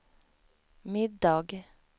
middag